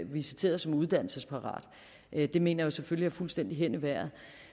visiteret som uddannelsesparat det mener jeg selvfølgelig er fuldstændig hen i vejret